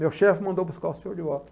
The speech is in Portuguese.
Meu chefe mandou buscar o senhor de volta.